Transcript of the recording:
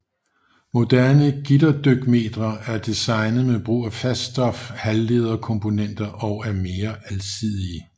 Moderne gitterdykmetre er designet med brug af faststof halvlederkomponenter og er mere alsidige